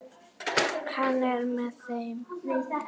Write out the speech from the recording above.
Hann er með þeim.